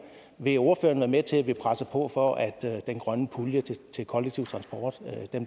vil ordføreren være med til at vi presser på for at den grønne pulje til kollektiv transport